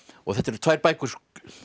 þetta eru tvær bækur